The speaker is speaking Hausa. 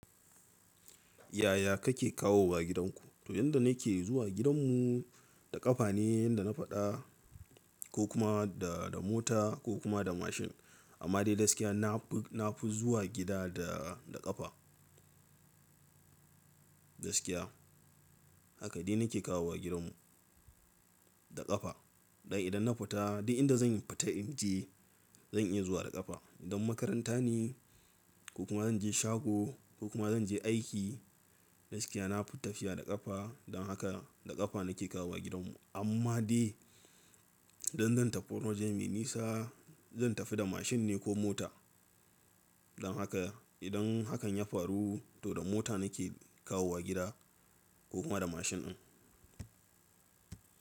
Yaya kake kawowa gidanku? To yanda nake zuwa gidanmu da ƙafa ne, yanda na faɗa ko kuma da, da mota ko kuma da mashin. Amma dai gaskiya na fi, na fi zuwa gida da, da ƙafa. Gaskiya. Haka dai nake kawowa gidanmu, da ƙafa. Dan idan nafita duk inda zanfita inje zan iya zuwa da ƙafa. Idan makaranta ne kokuma zanje shago kokuma zan je aiki gaskiya na fi tafiya da ƙafa don haka da ƙafa nake kawowa gidanmu. Amma dai idan zan tafi wani waje mai nisa zan tafi da mashin ne ko mota. Don haka idan hakan ya faru to da mota nake kawowa gida ko kuma da mashin ɗin.